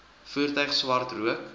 voertuig swart rook